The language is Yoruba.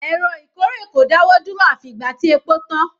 Èrò ìkórè kò dáwọ́ dúró àfi ìgbà tí epo tán.